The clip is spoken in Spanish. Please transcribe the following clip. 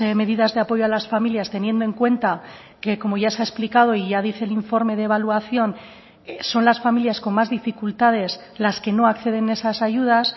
medidas de apoyo a las familias teniendo en cuenta que como ya se ha explicado y ya dice el informe de evaluación son las familias con más dificultades las que no acceden a esas ayudas